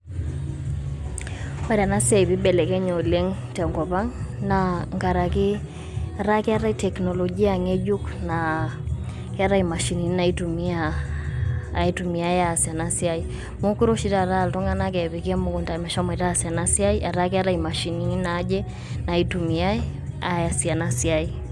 Ore ena siai piibelekeny'e oleng' tenkop ang' naa nkaraki ketaa keetai tekinolojia ng'ejuk naa keetai imashinini naaitumia, naaitumiyai aas ena siai, meekure oshi taata aa iltung'anak epiki emukunda meshomoita aas ena siaai etaa keetai imashinini naaje naitumiyai aas ena siaai.